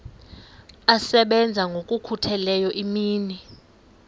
asebenza ngokokhutheleyo imini